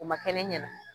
O ma kɛ ne ɲɛna